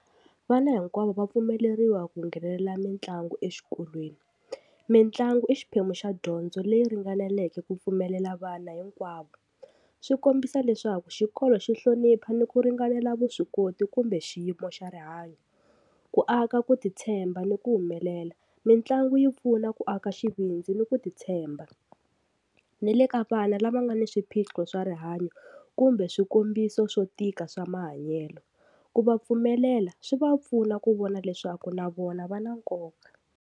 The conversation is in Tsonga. Vana hinkwavo va pfumeleriwa ku nghenelela mitlangu exikolweni, mitlangu i xiphemu xa dyondzo leyi ringaneleke ku pfumelela vana hinkwavo. Swi kombisa leswaku xikolo xi hlonipha ni ku ringanela vuswikoti kumbe xiyimo xa rihanyo. Ku aka ku titshemba ni ku humelela, mitlangu yi pfuna ku aka xivindzi ni ku titshemba, ni le ka vana lava nga ni swiphiqo swa rihanyo kumbe swikombiso swo tika swa mahanyelo, ku va pfumelela swi va pfuna ku vona leswaku na vona va na nkoka.